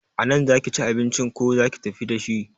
A nan za ki ci abincin ko za ki tafi dashi?